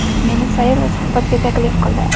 Meni sayr va suhbatga taklif qildi.